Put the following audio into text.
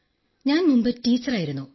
ഞാൻ മുമ്പ് ടീച്ചറായിരുന്നു